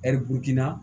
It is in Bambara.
Ɛri burukina